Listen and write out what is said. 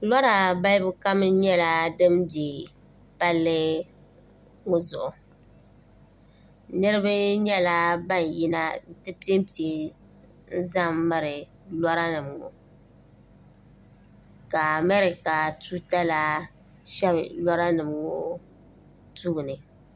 lora balli kam nyɛla din bɛ palli ŋo zuɣu niraba nyɛla ban yina n ti ʒɛnʒɛ n miri lora nim ŋo ka amɛrika tuuta la shɛbi lora nim ŋo tooni